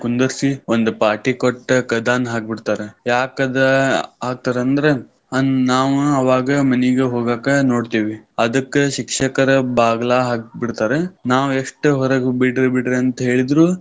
ಕುಂದರ್ಸಿ ಒಂದ್ ಪಾಟಿ ಕೊಟ್ಟ್ ಕದಾನ ಹಾಕಿ ಬಿಡ್ತಾರ. ಯಾಕದ ಆ ಥರ್ ಅಂದ್ರ ನಾವ ಅವಾಗ ಮನಿಗ ಹೋಗಾಕ ನೋಡ್ತೇವಿ. ಅದಕ್ಕ್ ಶಿಕ್ಷಕರ ಬಾಗ್ಲಾ ಹಾಕ್ಬಿಡ್ತಾರೆ ನಾವೆಷ್ಟ ಹೊರಗ ಬಿಡ್ರಿ ಬಿಡ್ರಿ ಅಂತ ಹೇಳಿದ್ರು.